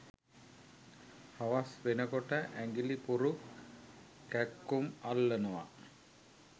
හවස් වෙනකොට ඇඟිලි පුරුක් කැක්කුම් අල්ලනවා.